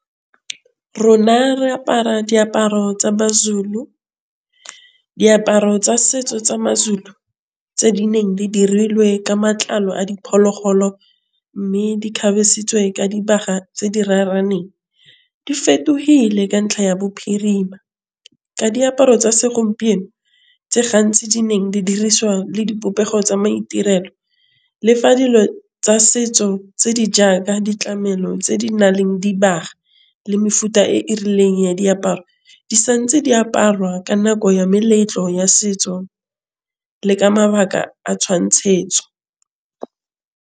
Rona re apara diaparo tsa ma-Zulu. Diaparo tsa setso tsa ma-Zulu tse di neng di dirilwe ka matlalo a diphologolo mme di kgabesitsweng ka dibaga tse di raraneng. Di fetogile ka ntlha ya bophirima. Ka diaparo tsa segompieno tse gantsi di neng di dirisiwa le dipopego tsa maitirelo lefa dilo tsa setso tse di jaaka ditlamelo tse di na leng di baagi le mefuta e e rileng ya diaparo di santse di aparwa ka nako ya meletlo ya setso. Le ka mabaka a tshwantshetso.